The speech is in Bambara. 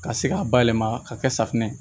Ka se k'a bayɛlɛma ka kɛ safunɛ ye